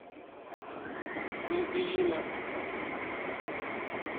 мглина